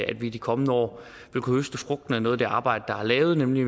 at vi i de kommende år vil kunne høste frugten af noget af det arbejde der er lavet nemlig